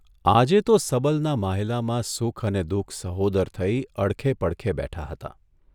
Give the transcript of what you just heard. આજે તો સબલના માંહ્લાયલામાં સુખ અને દુઃખ સહોદર થઇ અડખે પડખે બેઠા હતા.